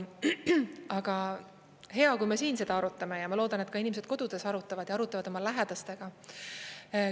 Aga hea, kui me siin seda arutame, ja ma loodan, et ka inimesed kodudes arutavad ja arutavad oma lähedastega.